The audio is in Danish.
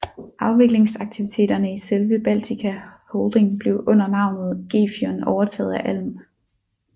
Afviklingsaktiviteterne i selve Baltica Holding blev under navnet Gefion overtaget af Alm